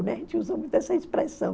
A gente usa muito essa expressão.